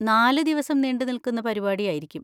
നാലുദിവസം നീണ്ടുനിൽക്കുന്ന പരിപാടി ആയിരിക്കും.